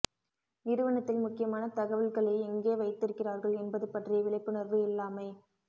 நிறுவனத்தில் முக்கியமான தகவல்களை எங்கே வைத்திருக்கிறார்கள் என்பது பற்றிய விழிப்புணர்வு இல்லாமை